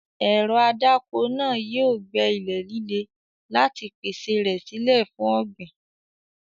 Ẹ̀rọ adáko náà yóò gbẹ́ ilẹ̀ líle láti pèsè rẹ̀ sílẹ̀ fún ọ̀gbìn.